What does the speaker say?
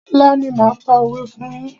Ọ̀la ni máa pa òwé fún yín.